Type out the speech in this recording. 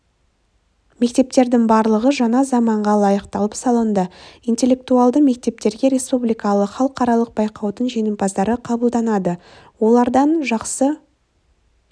мектептердің барлығы жаңа заманға лайықталып салынды интеллектуалды мектептерге республикалық іалықаралық байқаудың жеңімпаздары қабылданады олардан жақсы